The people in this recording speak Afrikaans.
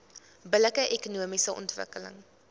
billike ekonomiese ontwikkeling